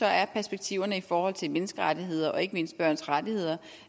er perspektiverne i forhold til menneskerettigheder og ikke mindst børns rettigheder